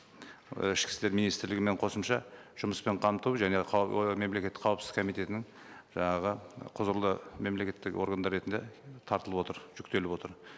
і ішкі істер министрлігімен қосымша жұмыспен қамту және ы мемлекеттік қауіпсіздік комитетінің жаңағы құзырлы мемлекеттер органдар ретінде тартылып отыр жүктеліп отыр